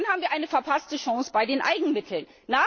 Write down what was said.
Dann haben wir eine verpasste Chance bei den Eigenmitteln!